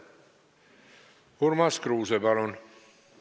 Urmas Kruuse, palun!